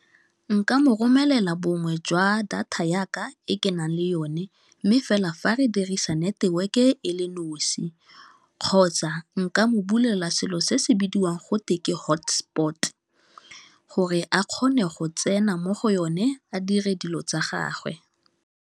Nka mo romelela bongwe jwa data yaka e ke nang le yone mme fela fa re dirisa network e le nosi kgotsa nka mo bulela selo se se bidiwang go teng ke hotspot gore a kgone go tsena mo go yone a dire dilo tsa gagwe.